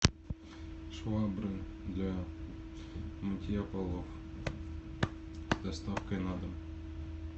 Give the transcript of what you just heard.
швабры для мытья полов с доставкой на дом